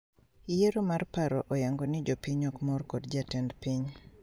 Yiero mar paro oyango ni jopiny ok mor kod jatend piny